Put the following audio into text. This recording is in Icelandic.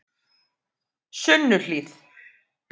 Sunnuhlíð